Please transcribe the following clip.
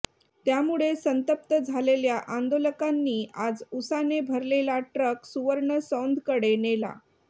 त्यामुळे संतप्त झालेल्या आंदोलकांनी आज उसाने भरलेला ट्रक सुवर्णसौंधकडे नेला